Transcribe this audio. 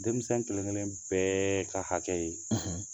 Denmisɛn kelen-kelen bɛɛ ka hakɛ ye